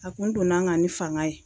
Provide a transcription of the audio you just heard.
A kun donna n kan ni fanga ye.